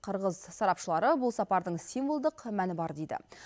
қырғыз сарапшылары бұл сапардың символдық мәні бар дейді